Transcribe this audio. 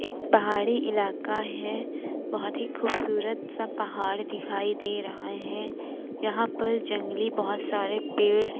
एक पहाड़ी इलाका है बहुत ही खूबसूरत सा पहाड़ दिखाई दे रहा है यहां पर जंगली बहुत सारे पेड़ है ।